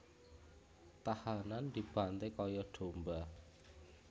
Tahanan dibanté kaya domba